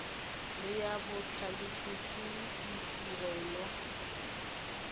le ya botlhalefi ke ditirelo